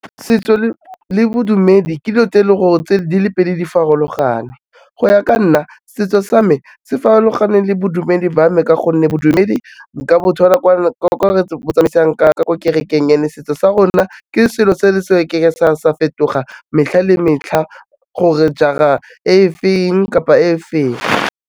Setso le bodumedi ke dilo tse leng gore di le pedi di farologane go ya ka nna setso sa me se farologaneng le bodumedi ba me ka gonne bodumedi nka bo thola kwa re bo tsamaisang ka ko kerekeng ya mme, setso sa rona ke selo se re ke ke sa fetoga metlha le metlha gore jaar-a e feng kapa e feng.